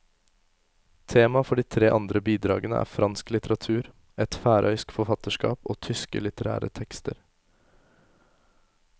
Tema for de tre andre bidragene er fransk litteratur, et færøysk forfatterskap og tyske litterære tekster.